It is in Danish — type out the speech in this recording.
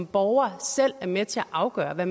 borgerne selv er med til at afgøre hvad